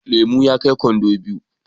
Lemu ya kai kwando biyu